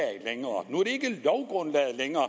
længere